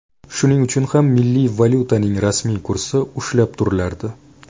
Shuning uchun ham milliy valyutaning rasmiy kursi ushlab turilardi.